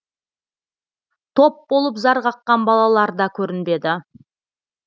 топ болып зар қаққан балаларда көрінбеді